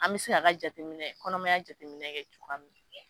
An bɛ se ka ka jateminɛ kɔnɔmaya jateminɛ kɛ cogoya min.